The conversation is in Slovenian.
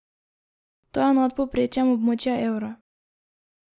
To je nad povprečjem območja evra.